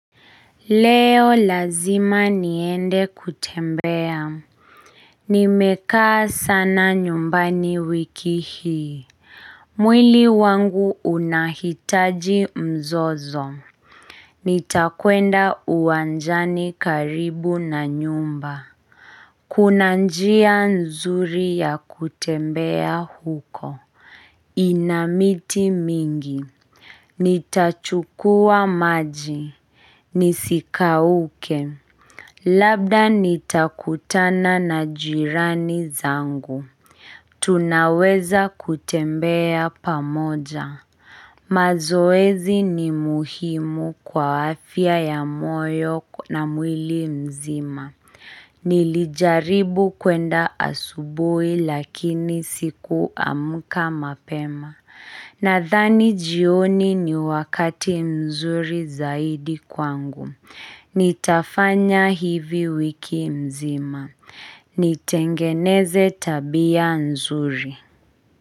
Leo lazima niende kutembea, nimekaa sana nyumbani wiki hii, mwili wangu unahitaji mzozo nitakwenda uwanjani karibu na nyumba kuna njia nzuri ya kutembea huko, ina miti mingi nitachukua maji, nisikauke Labda, nitakutana na jirani zangu. Tunaweza kutembea pamoja. Mazoezi ni muhimu kwa afia ya moyo na mwili mzima. Nilijaribu kuenda asubuhi lakini sikuamka mapema. Nadhani jioni ni wakati mzuri zaidi kwangu. Nitafanya hivi wiki mzima. Nitengeneze tabia mzuri.